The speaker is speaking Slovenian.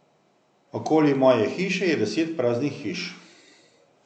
Okoli moje hiše je deset praznih hiš.